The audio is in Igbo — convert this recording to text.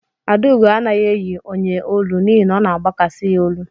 Adaugo anaghị eyi onyeolu n'ihi na ọ na agbakasị ya olu.